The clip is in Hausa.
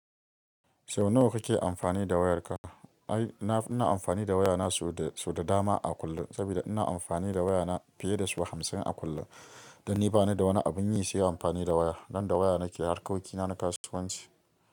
Sau nawa kake amfani da wayarka? Ai, na, ina amfani da wayana sau da, sau da dama a kullum saboda ina amfani da wayana fiye da sau hamsin a kullum. Dan ni bani da wani abin yi sai amfani da waya. Dan da waya nake harkoki na na kasuwanci.